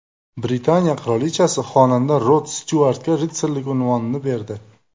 Britaniya qirolichasi xonanda Rod Styuartga ritsarlik unvonini berdi.